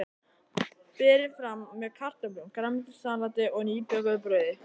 Berið fram með kartöflum, grænmetissalati og nýbökuðu brauði.